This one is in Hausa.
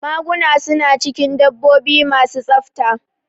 Maguna su na cikin dabbobi ma su tsafta